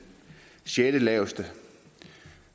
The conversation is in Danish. sjettelaveste